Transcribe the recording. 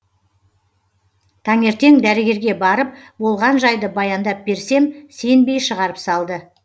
таңертең дәрігерге барып болған жайды баяндап берсем сенбей шығарып салды